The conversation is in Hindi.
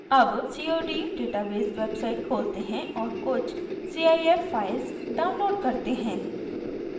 अब cod database website खोलते हैं और कुछ cif files download करते हैं